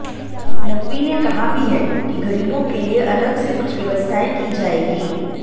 नकवी ने कहा भी है कि गरीबों के लिए अलग से कुछ व्यवस्थाएं की जाएंगी